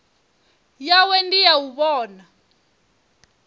yawe ndi ya u vhona